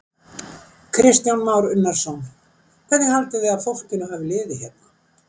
Kristján Már Unnarsson: Hvernig haldið þið að fólkinu hafi liðið hérna?